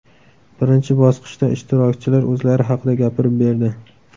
Birinchi bosqichda ishtirokchilar o‘zlari haqida gapirib berdi.